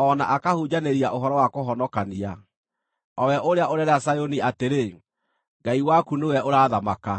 o na akahunjanĩria ũhoro wa kũhonokania, o we ũrĩa ũreera Zayuni atĩrĩ, “Ngai waku nĩwe ũrathamaka!”